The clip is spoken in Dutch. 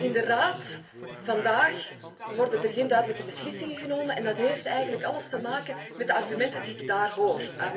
In de Raad worden vandaag geen duidelijke beslissingen genomen en dat heeft eigenlijk alles te maken met de argumenten die ik daar hoor.